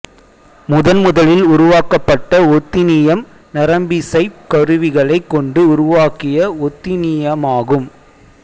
முதன் முதலில் உருவாக்கப்பட்ட ஒத்தின்னியம் நரம்பிசைப் கருவிகளைக் கொண்டு உருவாக்கிய ஒத்தின்னியமாகும்